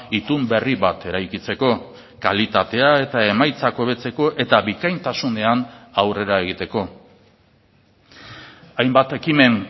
itun berri bat eraikitzeko kalitatea eta emaitzak hobetzeko eta bikaintasunean aurrera egiteko hainbat ekimen